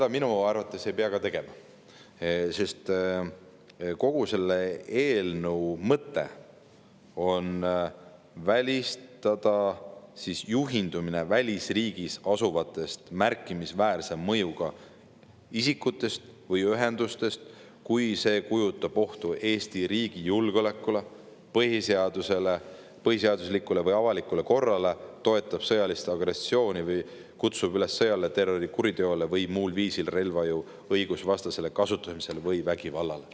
Ja minu arvates ei pea seda ka tegema, sest kogu selle eelnõu mõte on välistada juhindumine välisriigis asuvatest märkimisväärse mõjuga isikutest ja ühendustest, kui see kujutab ohtu Eesti riigi julgeolekule, põhiseadusele, põhiseaduslikule või avalikule korrale, toetab sõjalist agressiooni või kutsub üles sõjale, terrorikuriteole või muul viisil relvajõu õigusvastasele kasutamisele või vägivallale.